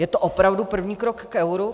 Je to opravdu první krok k euru?